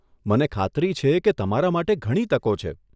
મને ખાતરી છે કે તમારા માટે ઘણી તકો છે.